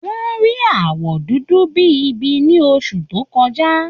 Wọ́n rí àwọ̀ dúdú bí i ibi ní oṣù tó kọjá